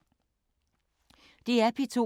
DR P2